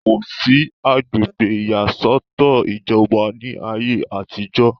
kò sí agbègbè ìyàsọ́tọ̀ ìjọba ní ayé àtijọ́